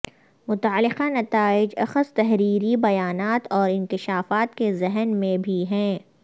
متعلقہ نتائج اخذ تحریری بیانات اور انکشافات کے ذہن میں بھی ہیں